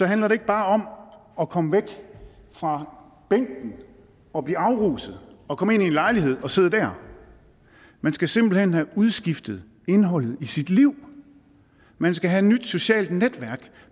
handler det ikke bare om at komme væk fra bænken og blive afruset og komme ind i en lejlighed og sidde der man skal simpelt hen have udskiftet indholdet i sit liv man skal have et nyt socialt netværk